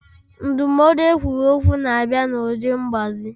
Ndụmọdụ ekwuru okwu na-abịa n'ụdị mgbazi.